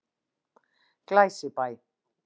Glæsibæ